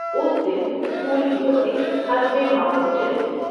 اس دن اسکول کی بسیں حسب معمول چلیں گی۔